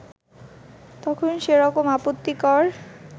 তখন সেরকম আপত্তিকর